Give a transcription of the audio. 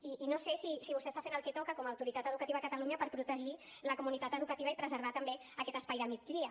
i no sé si vostè està fent el que toca com a autoritat educativa a catalunya per protegir la comunitat educativa i preservar també aquest espai de migdia